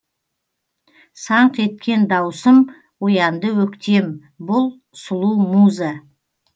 саңқ еткен даусым оянды өктем бұл сұлу муза